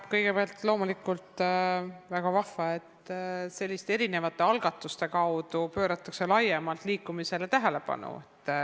Kõigepealt, loomulikult on väga vahva, et selliste algatuste kaudu pööratakse laiemalt liikumisele tähelepanu.